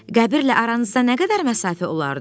Qəbrlə aranızda nə qədər məsafə olardı?